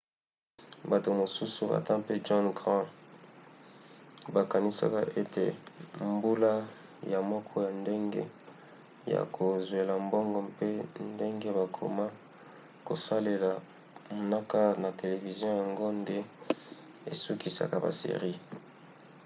bato mosusu ata mpe john grand bakanisaka ete mbula ya moko ya ndenge ya kozwela mbongo mpe ndenge bakoma kosalela mnaka na televizio yango nde esukisaka ba series